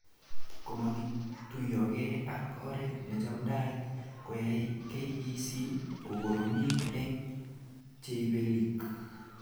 Komakituyokee ak oret nechamdaat koyay KEC kokoromit eng cheibelik